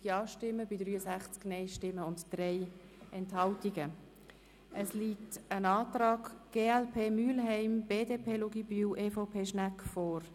Nun liegt noch ein Antrag der Fraktionen glp/Mühlheim, BDP/Luginbühl und EVP/ Schnegg, vor.